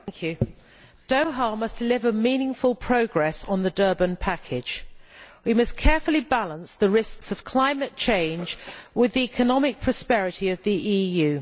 Mr President, Doha must deliver meaningful progress on the Durban package. We must carefully balance the risks of climate change with the economic prosperity of the EU.